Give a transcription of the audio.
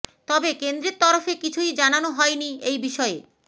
তবে কেন্দ্রের তরফে কিছুই জানানো হয়নি এই বিষয়ে